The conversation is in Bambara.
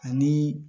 Ani